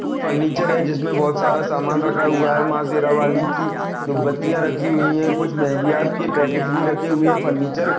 furniture है जिसमे बहुत सारा सामान रखा हुआ है माँ शेरावाली की धूप बत्तीया रखी हुई है कुछ मैगीया मेहदिया के पैकेटस भी रखे हुए है फर्नीचर --